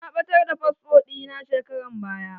Na ɓatar da fasfo ɗina shekaran baya.